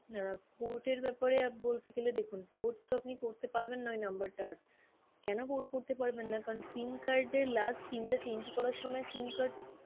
অ্যাঁ port এর ব্যাপারে বলতে গেলে দেখুন port তো আপনি করতে পারবেন না ওই number টা আর কেন port করতে পারবেন না কারণ SIM card এর last SIM টা change করার সময় SIM card